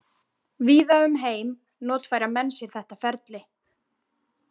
Víða um heim notfæra menn sér þetta ferli.